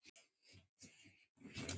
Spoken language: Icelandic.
Mamma, pabbi og systir mín.